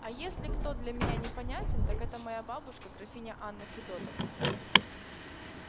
а если кто для меня непонятен так это моя бабушка графиня анна федотовна